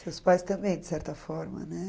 Seus pais também, de certa forma, né?